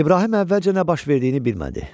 İbrahim əvvəlcə nə baş verdiyini bilmədi.